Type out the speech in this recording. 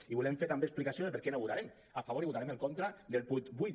i volem fer també explicació de per què no votarem a favor i votarem en contra del punt vuit